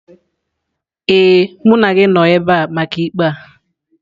Ee, mụ na gị nọ ebe a maka ikpe a.